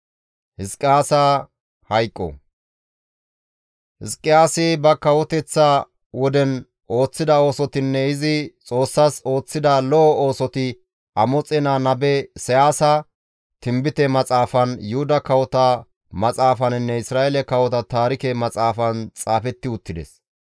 Hizqiyaasi ba kawoteththa woden ooththida oosotinne izi Xoossas ooththida lo7o oosoti Amoxe naa nabe Isayaasa tinbite Maxaafan, Yuhuda kawota maxaafaninne Isra7eele kawota taarike maxaafan xaafetti uttides.